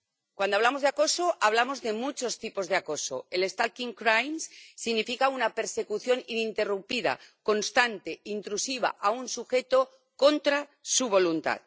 Cuando hablamos de acoso, hablamos de muchos tipos de acoso stalking crime significa una persecución ininterrumpida, constante, intrusiva, de un sujeto contra su voluntad.